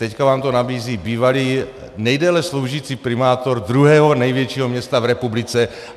Teď vám to nabízí bývalý nejdéle sloužící primátor druhého největšího města v republice.